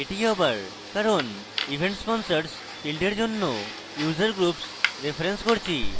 এটি আবার কারণ events sponsors ফীল্ডের জন্য user groups রেফারেন্স করছি